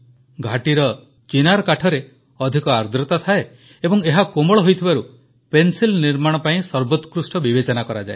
ଘାଟିର ଚିନାର୍ କାଠରେ ଅଧିକ ଆର୍ଦ୍ରତା ଥାଏ ଏବଂ ଏହା କୋମଳ ହୋଇଥିବାରୁ ପେନସିଲ୍ ନିର୍ମାଣ ପାଇଁ ସର୍ବୋକ୍ରୃଷ୍ଟ ବିବେଚନା କରାଯାଏ